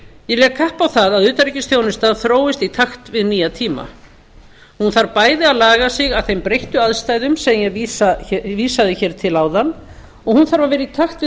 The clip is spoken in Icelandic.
ég legg kapp á það að utanríkisþjónustan þróist í takt við nýja tíma hún þarf bæði að laga sig að þeim breyttu aðstæðum sem ég vísaði til áðan og hún þarf að vera í takt við